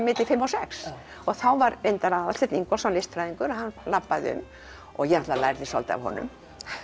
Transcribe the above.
fimm og sex þá var reyndar Aðalsteinn Ingólfsson listfræðingur hann labbaði um ég lærði svolítið af honum